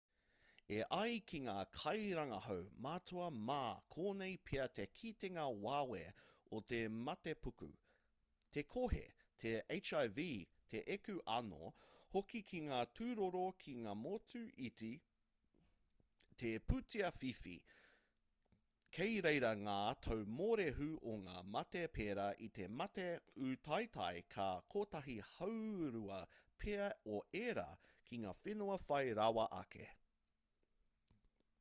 e ai ki ngā kairangahau matua mā konei pea te kitenga wawe o te matepuku te kohi te hiv te eku anō hoki ki ngā tūroro ki ngā motu iti te pūtea whiwhi kei reira ngā tau mōrehu o ngā mate perā i te mate ūtaetae ka kotahi haurua pea o ērā ki ngā whenua whai rawa ake